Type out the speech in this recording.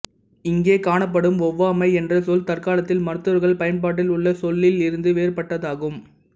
இங்கே காணப்படும் ஒவ்வாமை என்ற சொல் தற்காலத்தில் மருத்துவர்கள் பயன்பாட்டில் உள்ள சொல்லில் இருந்து வேறுபட்டதாகும்